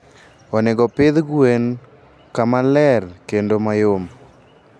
onego opidh gwen kama ler kendo mayom.